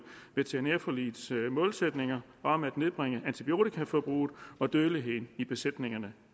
veterinærforligets målsætninger om at nedbringe antibiotikaforbruget og dødeligheden i besætningerne